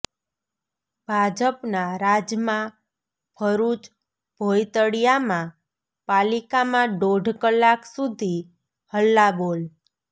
ભાજપના રાજમાં ભરૃચ ભોંયતળિયામાં પાલિકામાં દોઢ કલાક સુધી હલ્લાબોલ